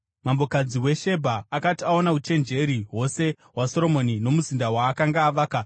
Mambokadzi weShebha akati aona uchenjeri hwose hwaSoromoni nomuzinda waakanga avaka,